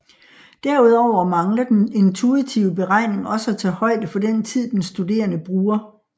Derudover mangler den intuitive beregning også at tage højde for den tid den studerende bruger